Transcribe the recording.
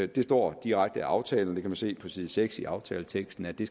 det står direkte i aftalen det kan man se på side seks i aftaleteksten at det